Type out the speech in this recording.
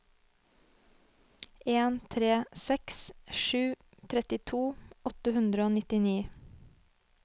en tre seks sju trettito åtte hundre og nittini